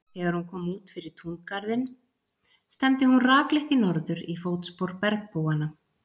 Þegar hún kom út fyrir túngarðinn stefndi hún rakleitt í norður, í fótspor bergbúanna.